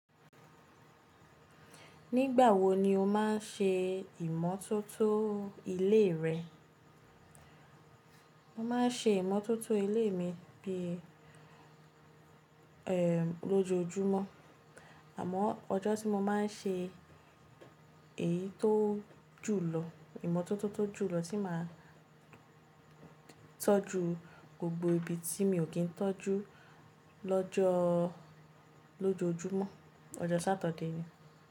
Nígbà wo ni o máa ń ṣe ìmọ́tótó ilé rẹ? Mo máa ń ṣe ìmọ́tótó ilé mi bí i ẹ lojoojumọ́, àmọ́ ọjọ́ tí mo máa ń ṣe èyí tó jùlọ ìmọ́tótó tó jùlọ tí màá tọ́jú gbogbo ibi tí mi ò kí ń tọ́jú lọ́jọ́ lojoojumọ́, ọjọ́ Satide ni.